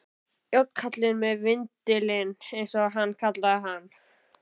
Járnkallinn með vindilinn, eins og hann kallaði hann.